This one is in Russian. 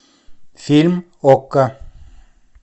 фильм окко